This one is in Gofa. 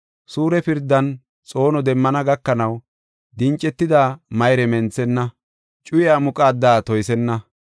Suure pirdan xoono demmana gakanaw, dincetida mayre menthenna, cuyiyaa muqaada toysenna.